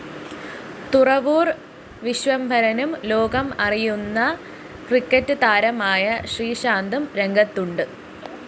തുറവൂര്‍ വിശ്വംഭരനും ലോകം അറിയുന്ന ക്രിക്കറ്റ്‌ താരമായ ശ്രീശാന്തും രംഗത്തുണ്ട്